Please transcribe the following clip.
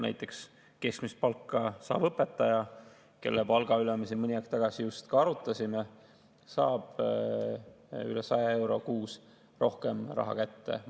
Näiteks keskmist palka saav õpetaja, kelle palga üle me siin mõni aeg tagasi just arutasime, saab üle 100 euro kuus rohkem raha kätte.